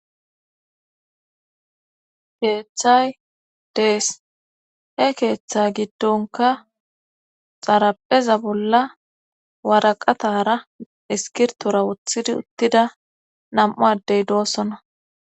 Keeththay dees he keeththe giddonka xarapheza bolla waraqatara iskirtora wothidi uttida nam7u addey doossona.